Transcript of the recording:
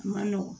A ma nɔgɔn